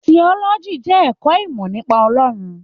Tiọ́lọ́jí jẹ ẹkọ ìmọ nípa Ọlọrun.